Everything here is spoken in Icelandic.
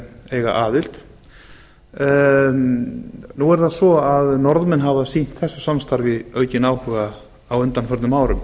eiga aðild nú er það svo að norðmenn hafa sýnt þessu samstarfi aukinn áhuga á undanförnum árum